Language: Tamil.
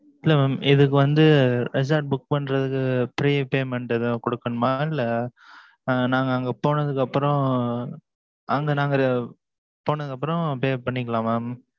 இல்லை, mam இதுக்கு வந்து, resort book பண்றதுக்கு, pre payment எதாவது கொடுக்கணுமா? இல்லை, அஹ் நாங்க அங்க போனதுக்கு அப்புறம், அங்க நாங்க போனதுக்கு அப்புறம், pay பண்ணிக்கலாம் mam